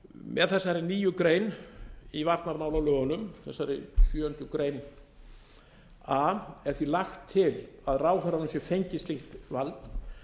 með þessari nýju grein í varnarmálalögunum með þessari sjöundu grein a er því lagt til að ráðherranum sé fengið slíkt vald